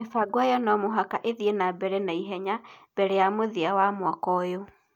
Mĩbango ĩyo no mũhaka ĩthiĩ na mbere na ihenya mbere ya mũthia wa mwaka ũyũ.